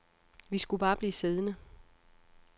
Vi skulle bare blive siddende.